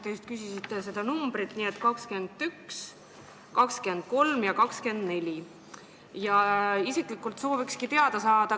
Te küsisite numbreid: muudatusettepanekud 21, 23 ja 24.